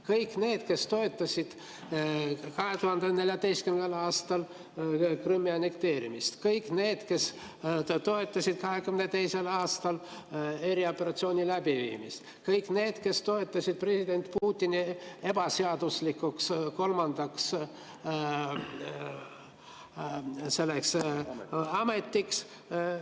Kõik need, kes toetasid 2014. aastal Krimmi annekteerimist, kõik need, kes toetasid 2022. aastal erioperatsiooni läbiviimist, kõik need, kes toetasid president Putini ebaseaduslikuks kolmandaks ametiajaks.